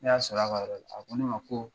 Ne y'a sɔrɔ a ka yɔrɔ, a ko ne ma ko